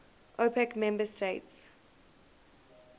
opec member states